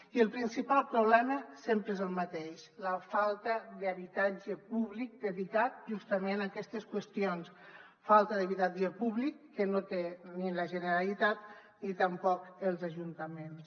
i el principal problema sempre és el mateix la falta d’habitatge públic dedicat justament a aquestes qüestions falta d’habitatge públic que no té ni la generalitat ni tampoc els ajuntaments